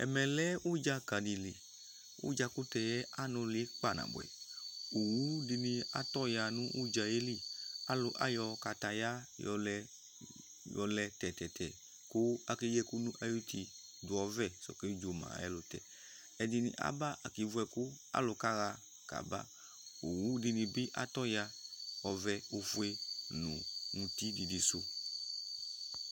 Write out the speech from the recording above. ɛmɛ lɛ udzaka dɩ li, udzakʊtɛ yɛ anʊlɩ kpanabʊɛ, owudɩnɩ atɔ ya nʊ udza yɛ li kʊ ayɔ wohe yɔ lɛ tɛtɛtɛ, kʊ akeyi ɛkʊ n'ayuti, dʊ ɔvɛ t'ɔkedzoma ayʊ ɛlʊtɛ, ɛdɩnɩ aba kevu ɛkʊ, alʊ kaɣa kaba, owudɩnɩ bɩ atɔ ya, ɔvɛ, ofue nʊ mʊti vɛ sɔkɔ